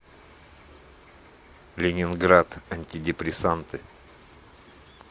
ленинград антидепрессанты